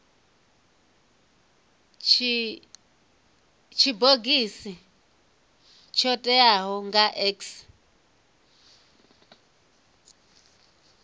tshibogisi tsho teaho nga x